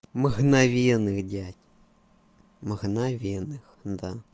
мгновенных дядь мгновенных да